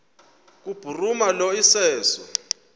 kubhuruma lo iseso